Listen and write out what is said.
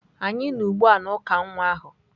Anyị nọ ugbu a na uka nwa ahu.